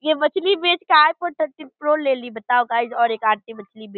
ये मछली बेचकर आईफोन थर्टीन प्रो ले ली बताओ गाइज और एक आंटी मछली बे --